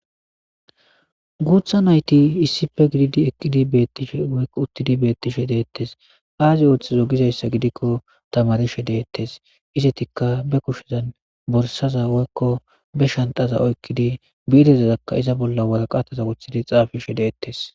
guutha nayti issife gididi eqqidi beettishe woykko uttidi beettishe deettes aazi ooththizo gizayssa gidikko tamarishe deettes isetikka be kushezan borsaza woykko be shantaza oykkidi biidezazakka iza bolla waraqataza wuthidi xaafishe deettes